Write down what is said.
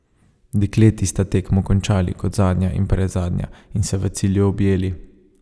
Dekleti sta tekmo končali kot zadnja in predzadnja in se v cilju objeli.